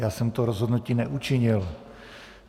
Já jsem to rozhodnutí neučinil.